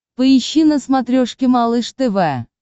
поищи на смотрешке малыш тв